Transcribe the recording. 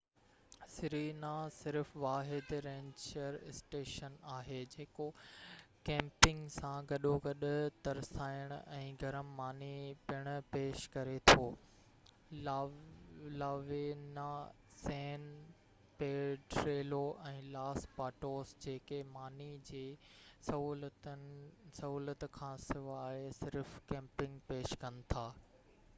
Serena صرف واحد ranger station آهي جيڪو ڪيمپنگ سان گڏوگڏ ترسائڻ ۽ گرم ماني پڻ پيش ڪري ٿو La Leona San Pedrillo ۽ Los Patos جيڪي ماني جي سهولت کانسواءِ صرف ڪيمپنگ پيش ڪن ٿا